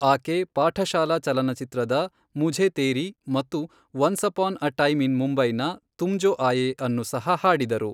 ಆಕೆ ಪಾಠಶಾಲಾ ಚಲನಚಿತ್ರದ ಮುಝೇ ತೇರೀ ಮತ್ತು once upon a time in ಮುಂಬೈನ ತುಮ್ ಜೋ ಆಯೇ ಅನ್ನು ಸಹ ಹಾಡಿದರು.